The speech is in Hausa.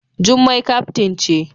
Jummai kaftin ce.